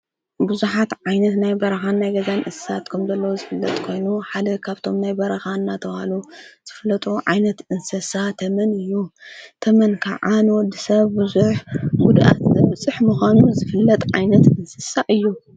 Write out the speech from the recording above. ብዙኃት ዓይነት ናይ በረኻን ናይ ገዛን እሳስት ኩምዘለዎ ዝፍለጥ ኮይኑ ሓደ ኻብቶም ናይ በረኻ እናተብሃሉ ዘፍለጦ ዓይነት እንስሳ ተመን እዩ ተመን ከዓ ንወዲሰብ ብዙሕ ጉድኣት ዘብፅሕ ምዃኑ ዝፍለጥ ዓይነት እንስሳእ እዩ።